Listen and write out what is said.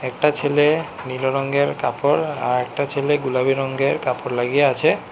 একটা ছেলে নীল রঙের কাপড় আর একটা ছেলে গোলাপি রঙ্গের কাপড় লাগিয়ে আছে।